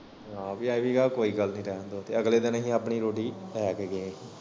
ਆਹੋ ਏਹ ਵੀ ਕੋਈ ਗੱਲ ਨੀ ਰੈਣ ਦੋ ਅਗਲੇ ਦਿਨ ਅਸੀ ਆਪਣੀ ਰੋਟੀ ਲੈ ਕੇ ਗਏ।